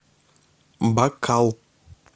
бакал